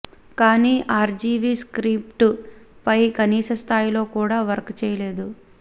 కానీ RGV script పై కనీస స్థాయిలో కూడా వర్క్ చేయలేదు